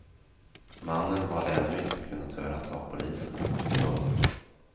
Mannen har ännu inte kunnat höras av polisen. punkt